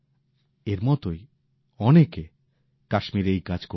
এঁর মতোই অনেকে কাশ্মীরে এই কাজ করছেন